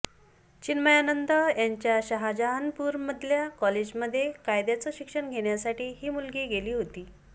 चिन्मयानंद यांच्या शहाजहानपूरमधल्या कॉलेजमध्ये कायद्याचं शिक्षण घेण्यासाठी ही मुलगी गेली होती